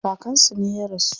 Kakan su ne ya rasu.